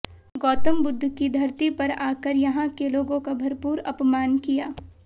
गौतम बुद्ध की धरती पर आकर यहां के लोगों का भरपूर अपमान किया